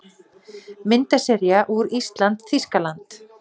Myndasería úr ÍSLAND- Þýskaland